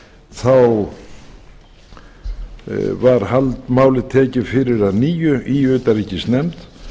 þá var málið tekið fyrir að nýju í utanríkisnefnd